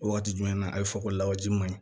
O waati jumɛn na a be fɔ ko lawaji man ɲi